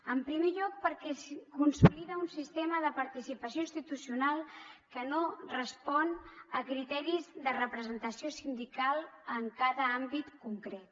en primer lloc perquè consolida un sistema de participació institucional que no respon a criteris de representació sindical en cada àmbit concret